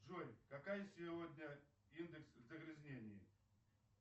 джой какая сегодня индекс загрязнения